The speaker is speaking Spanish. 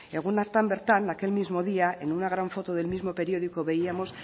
egun hartan bertan aquel mismo día en una gran foto del mismo periódico veíamos